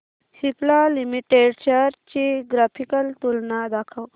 Cipla limited shares ची graphical तुलना दाखव